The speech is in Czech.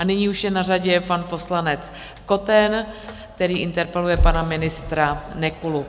A nyní už je na řadě pan poslanec Koten, který interpeluje pana ministra Nekulu.